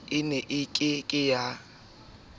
e ne e kenetswe ke